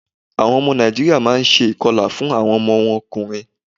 Àwọn ọmọ Nàìjíríà má a n se ìkọlà fún àwọn ọmọ wọn ọkùnrin